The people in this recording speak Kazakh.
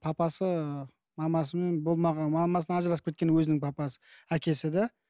папасы мамасымен болмаған мамасымен ажырасып кеткен өзінің папасы әкесі да